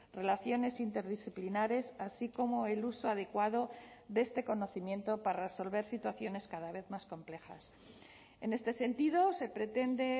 relaciones interdisciplinares así como el uso adecuado de este conocimiento para resolver situaciones cada vez más complejas en este sentido se pretende